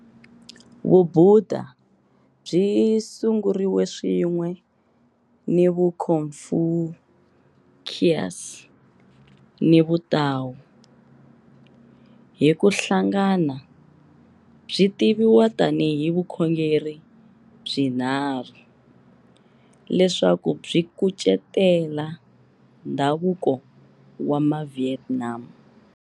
Vubudha byi sunguriwe swin'we ni Vuconfucius ni Vutao, hi ku hlangana byi tiviwa tanihi vukhongeri byinharhu, leswaku byi kucetela ndhavuko wa Mavietnam.